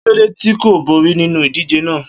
Kilode ti ko bori ninu idije naa?